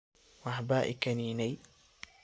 Waxba ikaniney.